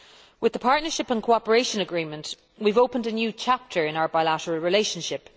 With the Partnership and Cooperation Agreement, we have opened a new chapter in our bilateral relationship.